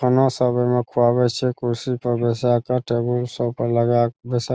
खाना सब एमे खुवाबे छै कुर्सी पर बैसाय के टेबुल सब पे लगा के बेसाय --